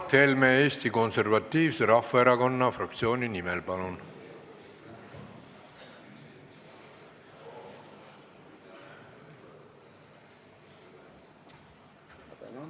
Mart Helme Eesti Konservatiivse Rahvaerakonna fraktsiooni nimel, palun!